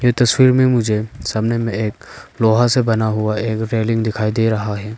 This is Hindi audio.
तस्वीर में मुझे सामने में एक लोहा से बना हुआ एक रेलिंग दिखाई दे रहा है।